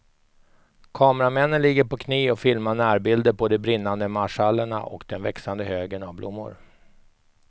Kameramännen ligger på knä och filmar närbilder på de brinnande marschallerna och den växande högen av blommor.